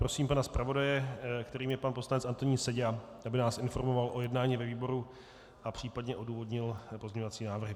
Prosím pana zpravodaje, kterým je pan poslanec Antonín Seďa, aby nás informoval o jednání ve výboru a případně odůvodnil pozměňovací návrhy.